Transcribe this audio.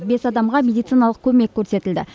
бес адамға медициналық көмек көрсетілді